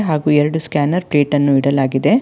ಹಾಗೂ ಎರಡು scanner plate ಅನ್ನು ಇಡಲಾಗಿದೆ.